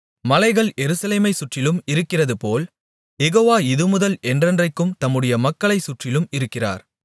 மலைகள் எருசலேமைச் சுற்றிலும் இருக்கிறதுபோல் யெகோவா இதுமுதல் என்றென்றைக்கும் தம்முடைய மக்களைச் சுற்றிலும் இருக்கிறார்